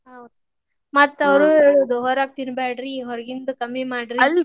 ಹೌದ್ ಮತ್ತ್ ಅವ್ರ್ ಹೇಳುದ್ ಹೊರಗ್ ತಿನ್ನಬ್ಯಾಡ್ರಿ ಹೊರಗಿಂದ ಕಮ್ಮಿ ಮಾಡ್ರಿ.